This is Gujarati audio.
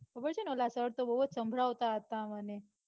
ખબર છેને ઓલા સર તો બઉ જ સંભળાવતા હતા મને.